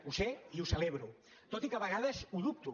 ho sé i ho celebro tot i que de vegades ho dubto